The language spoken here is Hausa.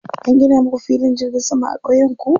An gina muku filin jirgin sama a ƙauyenku?